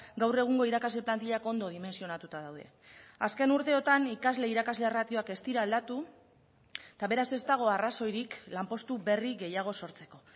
gaur egungo irakasle plantillak ondo dimentsionatuta daude azken urteotan ikasle irakasle ratioak ez dira aldatu eta beraz ez dago arrazoirik lanpostu berri gehiago sortzeko